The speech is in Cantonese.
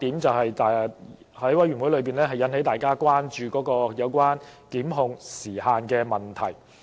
在法案委員會內引起大家關注的另一點，就是有關檢控時限的問題。